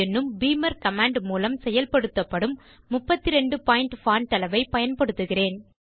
என்னும் beamer command மூலம் செயல்படுத்தப்படும் 32 பாயிண்ட் பான்ட் அளவைப் பயன்படுத்துகிறேன்